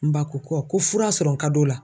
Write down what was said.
N ba ko ko ko fura sɔrɔ ka d'o la.